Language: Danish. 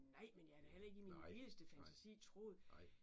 Nej men jeg havde da heller ikke i min vildeste fantasi troet